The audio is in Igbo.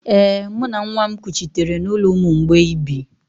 Ee, mụ na nwa m kuchitere n’ụlọ ụmụ mgbei bi